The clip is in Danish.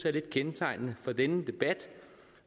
er lidt kendetegnende for denne debat